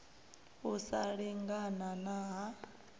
u sa lingana na ha